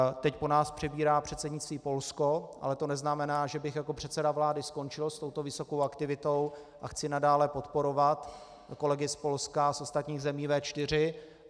Teď po nás přebírá předsednictví Polsko, ale to neznamená, že bych jako předseda vlády skončil s touto vysokou aktivitou, a chci nadále podporovat kolegy z Polska a ostatních zemí V4.